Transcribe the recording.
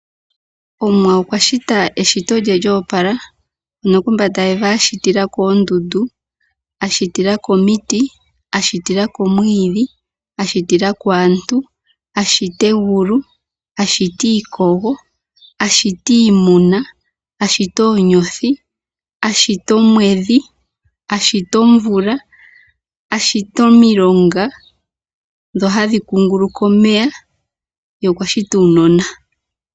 Omuwa okwashita eshito lye lyo opala mono kombanda yevi ashitilako oondundu, ashitilako omiti, ashitilako omwiidhi, ashitilako aantu ,ashita egulu, ashita iimuna ,ashita oonyothi, ashita omwedhi, ashita omvula ,ashita omilongo ndhono hadhi kunguluka omeya ye okwashita uunona .